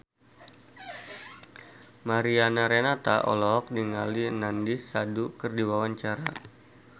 Mariana Renata olohok ningali Nandish Sandhu keur diwawancara